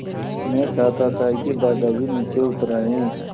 मैं चाहता था कि दादाजी नीचे उतर आएँ